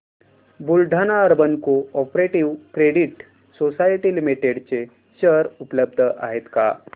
Buldhana urban cooperative credit society limited चे share उपलब्ध आहेत का